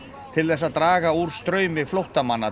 til þess að draga úr straumi flóttamanna